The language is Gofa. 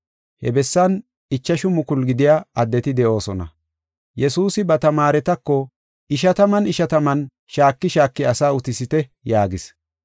He bessan ichashu mukulu gidiya addeti de7oosona. Yesuusi ba tamaaretako, “Ishataman ishataman shaaki shaaki asaa utisite” yaagis.